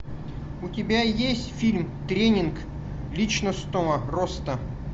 у тебя есть фильм тренинг личностного роста